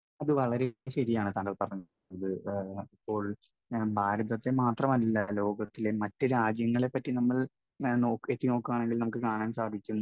Speaker 1 അത് വളരെ ശരിയാണ് താങ്കൾ പറഞ്ഞത്. കാരണം ഇപ്പോൾ ഭാരതത്തെ മാത്രമല്ല, ലോകത്തിലെ മറ്റു രാജ്യങ്ങളെപ്പറ്റി നമ്മൾ നോക്ക്, നെറ്റിൽ നോക്കുകയാണെങ്കിൽ നമുക്ക് കാണാൻ സാധിക്കും,